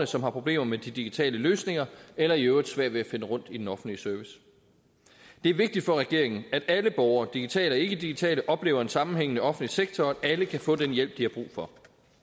som har problemer med de digitale løsninger eller i øvrigt svært ved at finde rundt i den offentlige service det er vigtigt for regeringen at alle borgere digitale og ikkedigitale oplever en sammenhængende offentlig sektor og at alle kan få den hjælp de har brug for